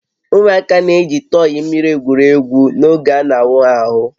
Ụmụaka na-eji tọyị mmiri egwuri egwu n'oge a na-awụ ha ahụ